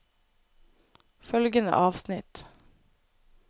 Følgende avsnitt